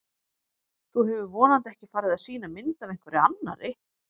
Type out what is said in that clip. Þú hefur vonandi ekki farið að sýna mynd af einhverri annarri!